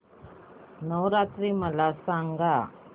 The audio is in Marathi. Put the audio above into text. नवरात्री मला सांगा